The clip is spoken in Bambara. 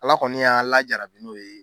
Ala kɔni y'a lajarabi n'o ye.